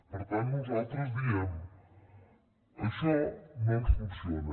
per tant nosaltres diem això no ens funciona